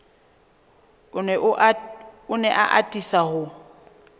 o ne a atisa ho